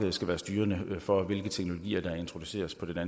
ind for at vi